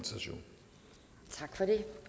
ja